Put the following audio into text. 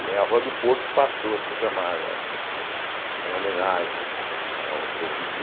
E é a Rua do Porto passou a ser chamada eh em homenagem ao Seu Bibi.